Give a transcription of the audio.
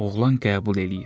Oğlan qəbul eləyir.